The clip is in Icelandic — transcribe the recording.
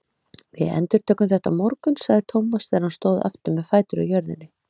Við endurtökum þetta á morgun sagði Thomas þegar hann stóð aftur með fætur á jörðinni.